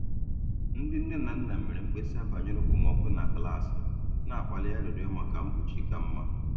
Ndị nne na nna mere mkpesa banyere okpomọkụ na klaasị, na-akpali arịrịọ maka mkpuchi ka mma.